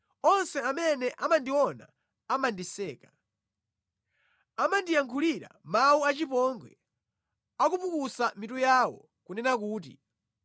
Onse amene amandiona amandiseka; amandiyankhulira mawu achipongwe akupukusa mitu yawo kunena kuti